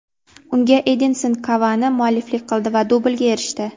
Unga Edinson Kavani mualliflik qildi va dublga erishdi.